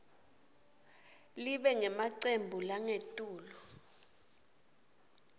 libe ngemacembu langetulu